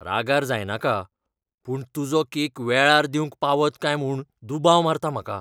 रागार जायनाका, पूण तुजो केक वेळार दिवंक पावत काय म्हूण दुबाव मारता म्हाका.